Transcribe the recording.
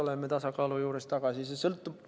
See muidugi sõltub.